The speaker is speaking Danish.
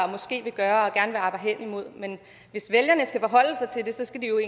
måske vil gøre og gerne vil arbejde hen imod men hvis vælgerne skal forholde sig til det skal de jo